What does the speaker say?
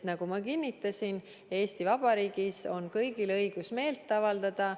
Nagu ma kinnitasin, Eesti Vabariigis on kõigil õigus meelt avaldada.